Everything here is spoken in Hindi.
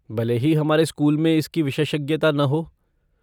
भले ही हमारे स्कूल में इसकी विशेषज्ञता न हो।